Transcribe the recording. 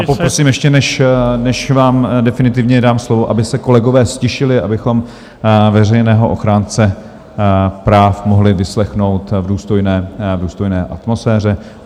A poprosím ještě, než vám definitivně dám slovo, aby se kolegové ztišili, abychom veřejného ochránce práv mohli vyslechnout v důstojné atmosféře.